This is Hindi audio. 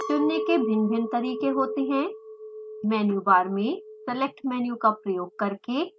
चुनने के भिन्न भिन्न तरीके होते हैं: मेनू बार में select मेनू का प्रयोग करके